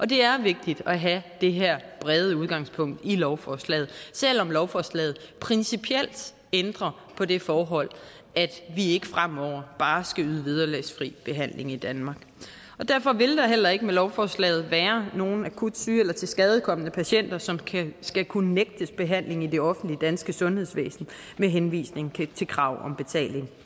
det er vigtigt at have det her brede udgangspunkt i lovforslaget selv om lovforslaget principielt ændrer på det forhold at vi ikke fremover bare skal yde vederlagsfri behandling i danmark derfor vil der heller ikke med lovforslaget være nogen akut syge eller tilskadekomne patienter som skal kunne nægtes behandling i det offentlige danske sundhedsvæsen med henvisning til krav om betaling